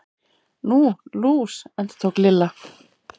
Nú, lús. endurtók Lilla.